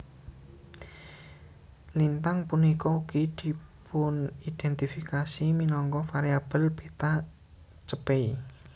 Lintang punika ugi dipunindhèntifikasi minangka variabel Beta Chepei